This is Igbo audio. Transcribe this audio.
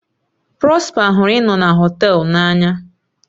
Prosper hụrụ ịnọ na họtel n'anya.